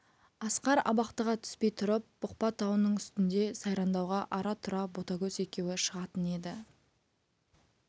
асқар абақтыға түспей тұрып бұқпа тауының үстінде сайрандауға ара-тұра ботагөз екеуі шығатын еді